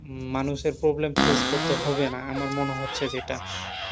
মানুষের problem face করতে হবে না, আমার মনে হচ্ছে যেটা।